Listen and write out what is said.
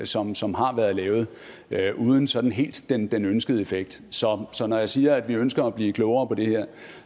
som som har været lavet uden sådan helt den den ønskede effekt så så når jeg siger at vi ønsker at blive klogere på det her